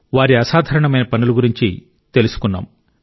వారి అసాధారణమైన పనుల గురించి తెలుసుకున్నాం